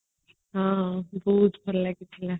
ହଁ ବହୁତ ଭଲ ଲାଗୁଥିଲା